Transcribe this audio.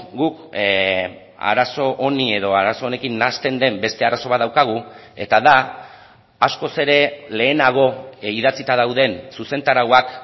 guk arazo honi edo arazo honekin nahasten den beste arazo bat daukagu eta da askoz ere lehenago idatzita dauden zuzentarauak